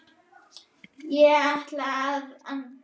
Hvar ætlaði þetta að enda?